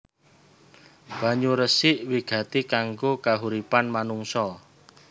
Banyu resik wigati kanggo kahuripan manungsa